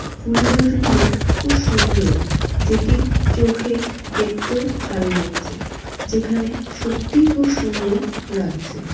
ফুল গাছগুলো খুব সুন্দর। যেটি চোখে দেখতেও ভাল লাগছে। যেখানে সত্যিই খুব সুন্দর লাগছে।